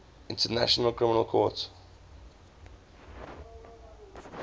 international criminal court